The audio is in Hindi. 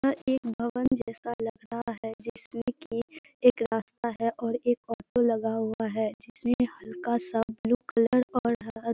यह एक भवन जैसा लग रहा है जिसमे की एक रास्ता है और एक ऑटो लगा हुआ है जिसमें हल्का सा ब्लू कलर और हर --